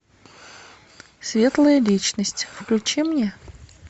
светлая личность включи мне